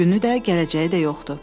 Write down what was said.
Bu günü də, gələcəyi də yoxdur.